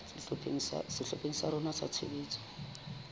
sehlopheng sa rona sa tshebetso